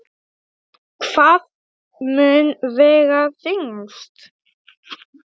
Hvað mun vega þyngst?